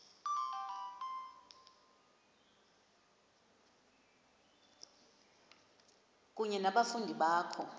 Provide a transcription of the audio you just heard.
kunye nabafundi bakho